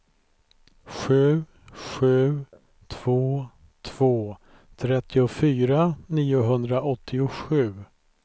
sju sju två två trettiofyra niohundraåttiosju